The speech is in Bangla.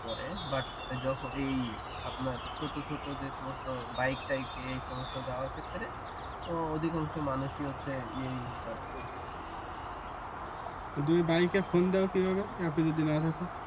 করে বাট যখন আপনার এই আপনার ছোট ছোট যে সমস্ত বাইক টাইক এই সমস্ত যাওয়ার ক্ষেত্রে অধিকাংশ মানুষই হচ্ছে ইয়ে ইউজ করে তো তুমি বাইকে ফোন দাও কেমনে যদি অ্যাপ এ না থাকো